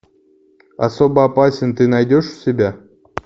особо опасен ты найдешь у себя